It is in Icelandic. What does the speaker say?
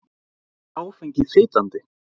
Er áfengi fitandi?